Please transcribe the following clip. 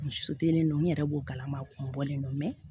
U su tɛ ne don n yɛrɛ b'o galama a kun bɔlen don